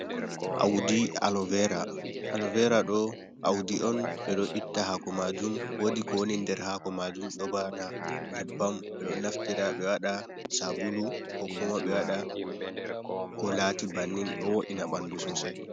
Awdi aloveera, aloveera ɗoo awdi on ɓe ɗo itta haako maajum. Woodi ko woni nder haako maajum ɗo bana nyebbam, ɓe ɗo naftira ɓe waɗa saabulu kookuma ɓe waɗa ko laati bannin. Ɗo wo’ina ɓanndu soosay.